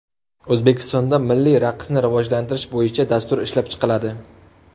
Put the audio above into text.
O‘zbekistonda milliy raqsni rivojlantirish bo‘yicha dastur ishlab chiqiladi.